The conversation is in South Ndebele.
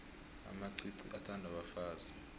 amacici athandwa bafazi